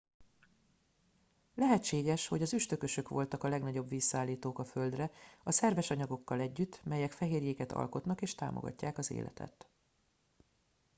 lehetséges hogy az üstökösök voltak a legnagyobb vízszállítók a földre a szerves anyagokkal együtt melyek fehérjéket alkotnak és támogatják az életet